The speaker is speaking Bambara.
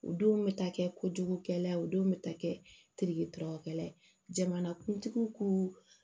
O denw bɛ taa kɛ kojugu kɛlaw denw bɛ ta kɛ teri dɔrɔgukɛla ye jamanakuntigiw ko